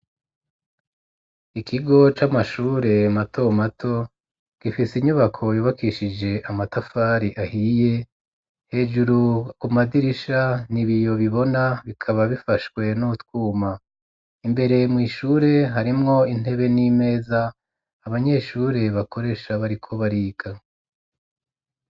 Ikigo c'amashure mato mato, gifise inyubako yubokishije amatafari ahiye, hejuru ku madirisha n' ibiyo bibona bikaba bifashwe nu twuma, imbere mu ishure harimwo intebe ,n'imeza ,abanyeshure bakoresha bariko bariga.